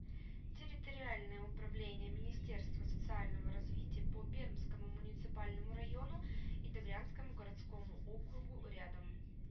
территориальное управление министерства социального развития по пермскому муниципальному району и добрянскому городскому округу рядом